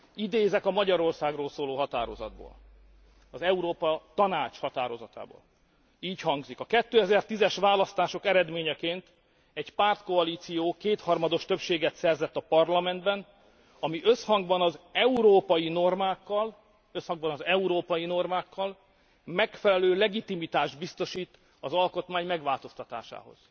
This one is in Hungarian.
Idézek a Magyarországról szóló határozatból, az Európa Tanács határozatából. Így hangzik a 2010 es választások eredményeként egy pártkoalíció kétharmados többséget szerzett a Parlamentben, ami összhangban az európai normákkal megfelelő legitimitást biztosít az alkotmány megváltoztatásához.